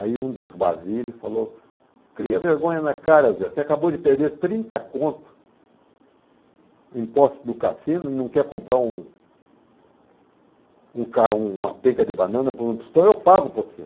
Aí um dos Basile falou, cria vergonha na cara, Zé, você acabou de perder trinta conto, imposto do cassino, não quer comprar um um ca uma penca de banana por um tostão, eu pago para você.